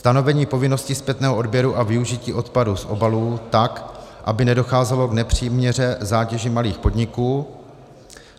Stanovení povinnosti zpětného odběru a využití odpadu z obalů tak, aby nedocházelo k nepřiměřené zátěži malých podniků.